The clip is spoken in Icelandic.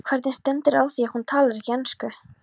Hvernig stendur á því að hún talar ekki ensku?